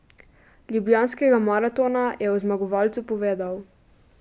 Ljubljanskega maratona, je o zmagovalcu povedal.